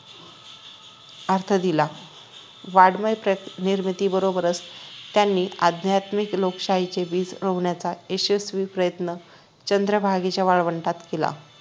अर्थ दिला वाड्मय निर्मितीबरोबरच त्यांनी अध्यात्मिक लोकशाहीचे बीज रोवण्याचा यशस्वी प्रयन्त चंद्रभागेच्या वाळवंटात केला